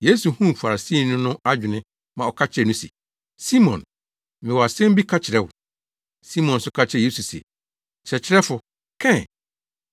Yesu huu Farisini no adwene ma ɔka kyerɛɛ no se, “Simon, mewɔ asɛm bi ka kyerɛ wo.” Simon nso ka kyerɛɛ Yesu se, “Kyerɛkyerɛfo, ka ɛ.”